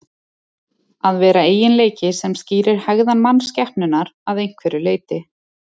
Að vera eiginleiki sem skýrir hegðan mannskepnunnar að einhverju leyti.